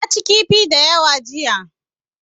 Na ci kifi da yawa jiya.